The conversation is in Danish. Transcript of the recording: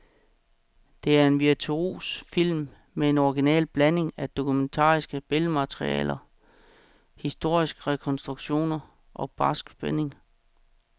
Det er en virtuos film med en original blanding af dokumentarisk billedmateriale, historisk rekonstruktion og barsk spænding.